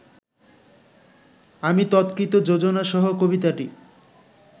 আমি তৎকৃত যোজনাসহ কবিতাটি